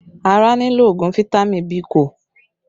Ara nílò ogun fitami Biiko